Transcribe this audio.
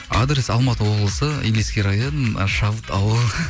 адрес алматы облысы илиский район ы шабыт ауылы